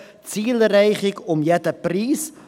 Zielerreichung um jeden Preis;